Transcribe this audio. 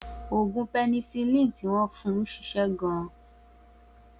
Oògùn penicilin tí wọn fún ṣiṣẹ́ fún gan